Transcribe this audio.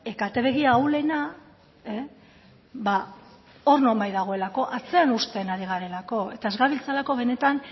kate begi ahulena ba hor nonbait dagoelako atzean uzten ari garelako eta ez gabiltzalako benetan